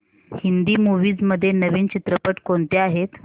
Hindi movies मध्ये नवीन चित्रपट कोणते आहेत